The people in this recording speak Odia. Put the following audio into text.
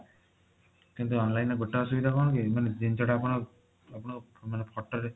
କିନ୍ତୁ online ରେ ଗୋଟେ ଅସୁବିଧା କଣ କି ମାନେ ଜିନିଷ ଟା ଆପଣ ମାନେ photo ରେ